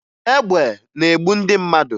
Egbe na-egbu ndị mmadụ